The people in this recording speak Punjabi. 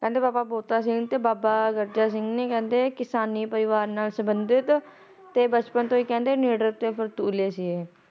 ਕਹਿੰਦੇ ਬਾਬਾ ਬੋਤਾ ਸਿੰਘ ਤੇ ਬਾਬਾ ਗਜਰਾ ਸਿੰਘ ਜੀ ਕਹਿੰਦੇ ਕਿਸਾਨੀ ਪਰਿਵਾਰ ਨਾਲ ਸੰਬੰਧਿਤ ਤੇ ਬਚਪਨ ਤੋਂ ਹੀ ਕਹਿੰਦੇ ਨਿਡਰ ਤੇ ਫਰਤੁਲੇ ਸੀ।